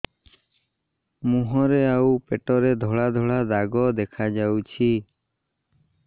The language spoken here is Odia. ମୁହଁରେ ଆଉ ପେଟରେ ଧଳା ଧଳା ଦାଗ ଦେଖାଯାଉଛି